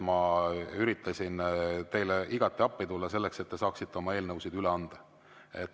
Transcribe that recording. Ma üritasin teile igati appi tulla selleks, et te saaksite oma eelnõusid üle anda.